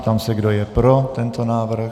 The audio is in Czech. Ptám se, kdo je pro tento návrh.